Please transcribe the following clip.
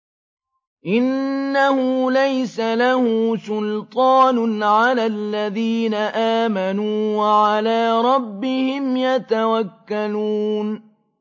إِنَّهُ لَيْسَ لَهُ سُلْطَانٌ عَلَى الَّذِينَ آمَنُوا وَعَلَىٰ رَبِّهِمْ يَتَوَكَّلُونَ